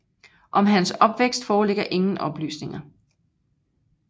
Om hans opvækst foreligger ingen oplysninger